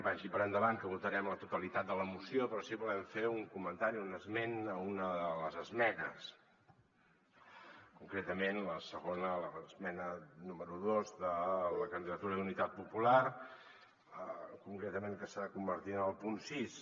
vagi per endavant que votarem la totalitat de la moció però sí que volem fer un comentari un esment a una de les esmenes concretament la segona l’esmena número dos de la candidatura d’unitat popular concretament que s’ha convertit en el punt sis